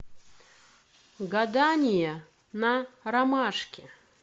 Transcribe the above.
гадание на ромашке